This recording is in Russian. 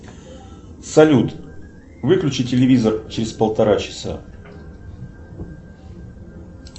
салют выключи телевизор через полтора часа